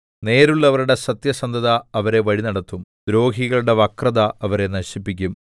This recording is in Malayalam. നേരുള്ളവരുടെ സത്യസന്ധത അവരെ വഴിനടത്തും ദ്രോഹികളുടെ വക്രത അവരെ നശിപ്പിക്കും